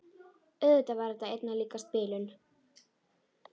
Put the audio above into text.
Auðvitað var þetta einna líkast bilun.